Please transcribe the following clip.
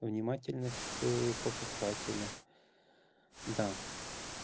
внимательность к покупателю да